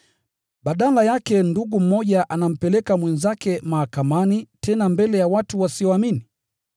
Badala yake ndugu mmoja anampeleka mwenzake mahakamani, tena mbele ya watu wasioamini!